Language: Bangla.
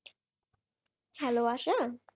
Hello আশা?